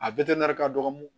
A ka dɔgɔ